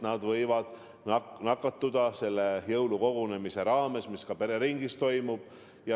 Nad võivad nakatuda sellel jõulukogunemisel, mis pereringis toimub.